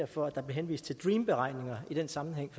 for at der blev henvist til dream beregninger i den sammenhæng